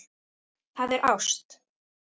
Það er ást.